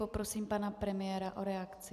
Poprosím pana premiéra o reakci.